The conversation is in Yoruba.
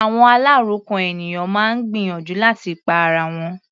Àwọn aláròkàn ènìyàn máa ń gbìyànjú láti pa ara wọn.